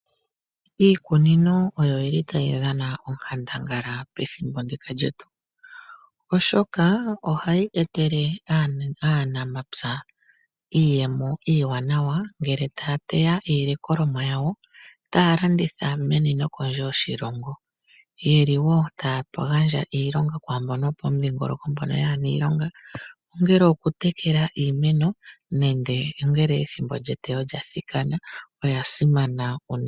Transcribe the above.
Iikuni o oyo yi li ta yi dhana onkandangala, pethimbo ndika lyetu. Oshoka oha yi etele aantu yomapya iiyemo iiwanawa ngele ta ya iini.a yawo kondje yoshilongo. Oye li wo ta ya gandja ilonga kwaambono yo pomudhingoloko kayena iilonga, ongele oku tekela iimeno, ongele oku teya, ngele eteyo lyathikana.